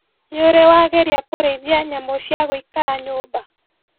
Nĩũrĩ wageria kũrĩithia nyamũ cia gũikara nyũmba?